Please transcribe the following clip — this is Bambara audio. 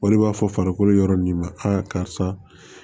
O de b'a fɔ farikolo yɔrɔ min ma karisa